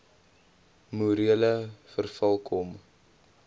morele verval kom